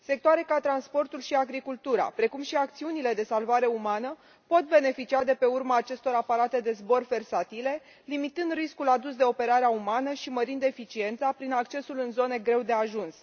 Sectoare ca transportul și agricultura, precum și acțiunile de salvare umană, pot beneficia de pe urma acestor aparate de zbor versatile, limitând riscul adus de operarea umană și mărind eficiența prin accesul în zone unde este greu de ajuns.